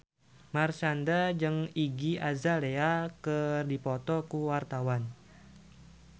Marshanda jeung Iggy Azalea keur dipoto ku wartawan